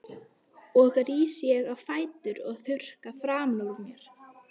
Og ég rís á fætur og þurrka framan úr mér.